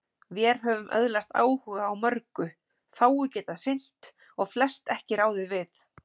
Vér höfum öðlast áhuga á mörgu, fáu getað sinnt og flest ekki ráðið við.